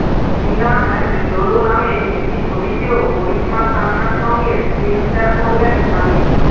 Tina and Lolo নামে একটি ছবিতেও করিশ্মা তান্নার সঙ্গে স্ক্রিন শেয়ার করবেন সানি